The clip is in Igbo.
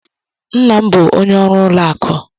Nna m bụ onye ọrụ ụlọ akụ.